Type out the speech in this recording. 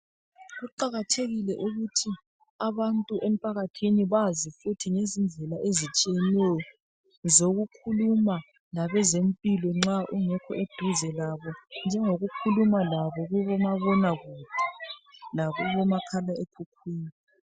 Kuqakathekile ukuthi abantu emphakathini bazi futhi izindlela ezitshiyeneyo lokukhuluma labezempilo nxa ungekho eduze labo njengokukhuluma labo kubomabona kude lakubomakhalekhukhwini.